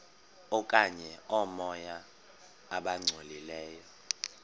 okanye oomoya abangcolileyo